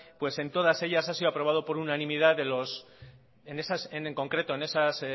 pues en todas ellas ha sido aprobado por unanimidad en esas en concreto en esas